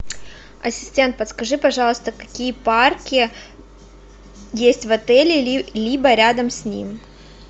ассистент подскажи пожалуйста какие парки есть в отеле либо рядом с ним